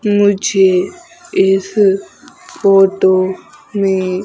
मुझे इस फोटो में--